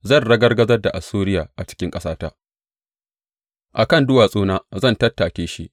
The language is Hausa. Zan ragargazar da Assuriya a cikin ƙasata; a kan duwatsuna zan tattake shi.